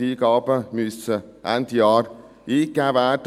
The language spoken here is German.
Die Eingaben müssen Ende Jahr eingegeben werden.